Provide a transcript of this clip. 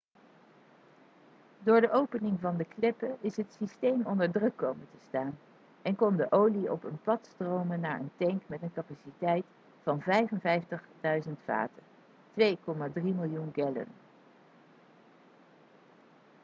door de opening van de kleppen is het systeem onder druk komen te staan en kon de olie op een pad stromen naar een tank met een capaciteit van 55.000 vaten 2,3 miljoen gallon